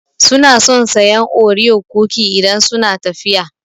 Su na son sayan Oreo cookie idan suna tafiya